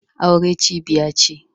Aure cibiya ce.